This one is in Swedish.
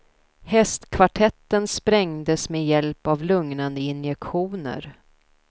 Hästkvartetten sprängdes med hjälp av lugnande injektioner.